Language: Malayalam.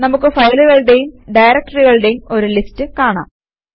നമുക്ക് ഫയലുകളുടേയും ഡയറക്ടറികളുടേയും ഒരു ലിസ്റ്റ് കാണാം